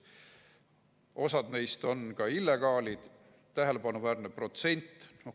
Osa neist on illegaalid, tähelepanuväärne protsent.